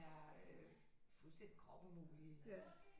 Øh fuldstændig kropumulige